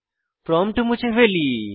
prompt মুছে ফেলি